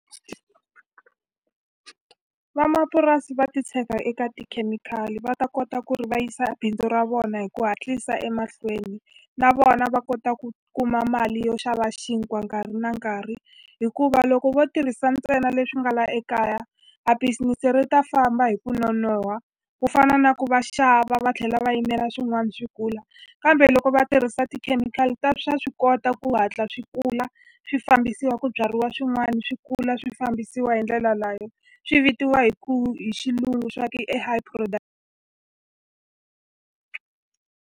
Vamapurasi va titshega eka tikhemikhali va ta kota ku ri va yisa bindzu ra vona hi ku hatlisa emahlweni na vona va kota ku kuma mali yo xava xinkwa nkarhi na nkarhi hikuva loko vo tirhisa ntsena leswi nga la ekaya a business ri ta famba hi ku nonoha ku fana na ku va xava va tlhela va yimela swin'wani swi kula kambe loko va tirhisa tikhemikhali ta swa swi kota ku hatla swi kula swi fambisiwa ku byariwa swin'wani swi kula swi fambisiwa hi ndlela swi vitiwa hi ku hi xilungu swa ku i high .